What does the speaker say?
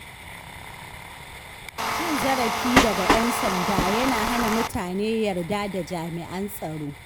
Cin zarafi daga ƴan sanda yana hana mutane yarda da jami’an tsaro.